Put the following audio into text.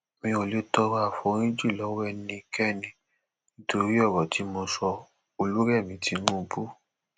mi ò lè tọrọ àforíjì lọwọ ẹnikẹni nítorí ọrọ tí mo sọolùrẹmi tinubu